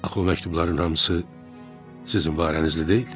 Axı məktubların hamısı sizin var əlinizdə deyil?